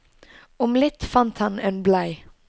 Om litt fant han en blei.